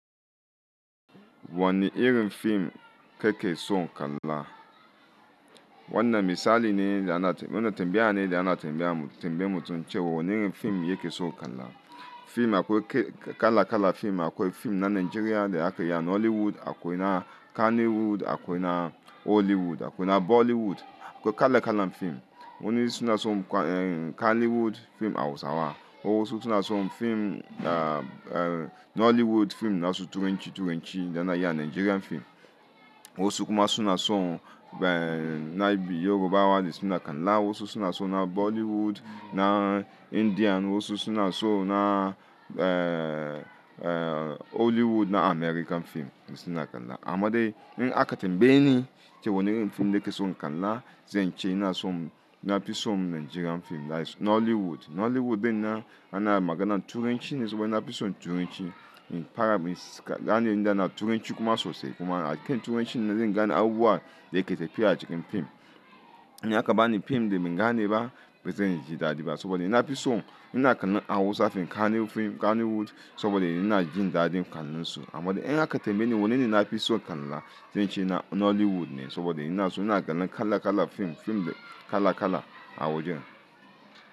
Wani irin fim ke ke so kalla? Wannan misali ne da ana, wannan tambaya ne da ana tambaya, tambaye mutum cewa wani irin fim yake so kalla. Fim akwai kala kala fim, akwai fim na Nigeria da aka yi a Nollywood, akwai na Kannywood, akwai na Hollywood, akwai na Bollywood. Akwai kala kalan fim wani suna so Kannywood fim Hausawa. Wasu suna so fim, na Nollywood fim na su Turanci Turanci da na yi a Nigerian fim. Wasu kuma suna so, na Igbo Yoruba wadi suna kalla. Wasu suna so na Bollywood na Indian. Wasu suna so na, Hollywood na American fim su suna kalla. Amma dai in aka tambaye ni cewa wani irin fim ake so kalla, zan ce ina so, ina fi so Nigerian fim, that is Nollywood. Nollywood na, ana magana da Turanci ne saboda ina fi so Turanci. In fara, gani inda na Turanci kuma sosa kuma. Hakkin Turanci na zai gana abubuwa da yake tafiya a cikin fim. In aka bani fim da ban gane ba, bai zai yi dadi ba saboda ina fi so ina kallo Hausa fim Kanny fim Kannywood saboda ina jin daɗin kallon su. Amma dai in aka tambaye ni wanne ina fi so kalla, zan ce na Nollywood ne saboda ina so ina ganin kala kala fim, fim kala kala a wajen.